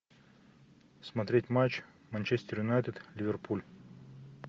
смотреть матч манчестер юнайтед ливерпуль